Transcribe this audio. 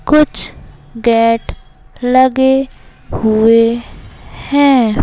कुछ गेट लगे हुए हैं।